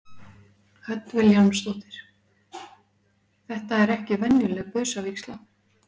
Hödd Vilhjálmsdóttir: Þetta er ekki venjuleg busavígsla?